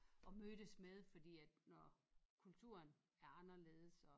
Og mødtes med fordi når kulturen er anderledes og